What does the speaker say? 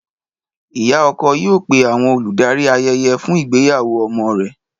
Ìyá ọkọ yóò pé àwọn olùdarí ayẹyẹ fún ìgbéyàwó ọmọ rẹ̀.